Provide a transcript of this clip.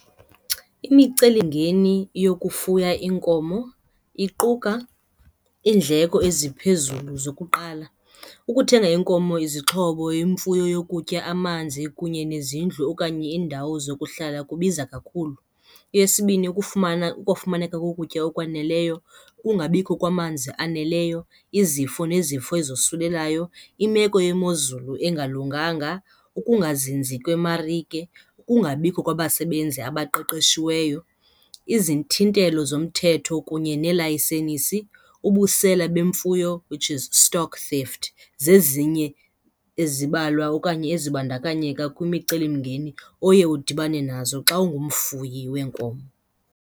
Imicelingeni yokufuya iinkomo iquka iindleko eziphezulu zokuqala. Ukuthenga iinkomo, izixhobo, imfuyo yokutya, amanzi kunye nezindlu okanye iindawo zokuhlala kubiza kakhulu. Eyesibini, ukufumaneka kokutya okwaneleyo, ukungabikho kwamanzi aneleyo, izifo nezifo ezosulelayo, imeko yemozulu engalunganga, ukungazinzi kwemarike, ukungabikho kwabasebenzi abaqeqeshiweyo, izithintelo zomthetho kunye neelayisenisi, ubusela bemfuyo, which is stock theft, zezinye ezibalwa okanye ezibandakanyeka kwimicelimngeni oye udibane nazo xa ungumfuyi weenkomo.